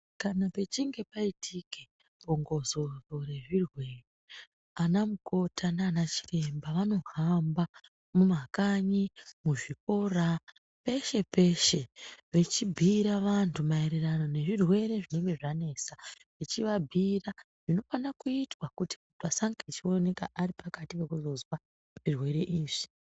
Kana pechinge paitike bongozozo re zvirwere ana mukoti nana chiremba vano hamba mu makanyi mu zvikora peshe peshe vechi bhuyira vantu maererano ne zvirwere zvinenge zvanesa echi vabhira zvino fana kuitwa kuti vasange vechi oneka vari pakati peku zozwa zvirwere izvi.